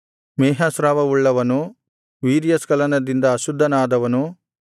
ಮೇಹಸ್ರಾವವುಳ್ಳವನು ವೀರ್ಯಸ್ಖಲನದಿಂದ ಅಶುದ್ಧನಾದವನು